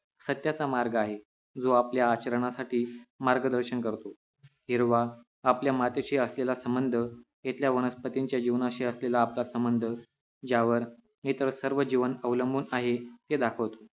सत्याचा मार्ग आहे जो आपल्या आचरणासाठी मार्गदर्शन करतो हिरवा आपल्या मातीशी असलेला संबंध हितल्या वनस्पतीच्या जीवनाशी असलेला आपला संबंध ज्यावर इतर सर्वजीवन अवलंबून आहे हे दाखवतो